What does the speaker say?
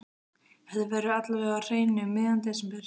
Þetta verður alla vega á hreinu um miðjan desember.